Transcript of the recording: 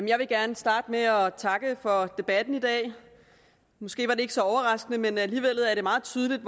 jeg vil gerne starte med at takke for debatten i dag måske var det ikke så overraskende men alligevel er det meget tydeligt